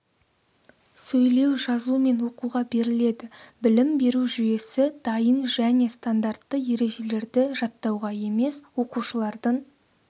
сөйлеу жазу мен оқуға беріледі білім беру жүйесі дайын және стандартты ережелерді жаттауға емес оқушылардың